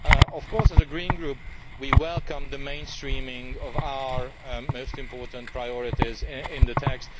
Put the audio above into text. Of course, as a Green Group, we welcome the mainstreaming of our most important priorities in the text.